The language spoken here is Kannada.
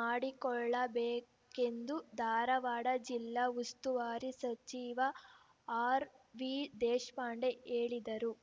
ಮಾಡಿಕೊಳ್ಳಬೇಕೆಂದು ಧಾರವಾಡ ಜಿಲ್ಲಾ ಉಸ್ತುವಾರಿ ಸಚಿವ ಆರ್‌ವಿ ದೇಶಪಾಂಡೆ ಹೇಳಿದರು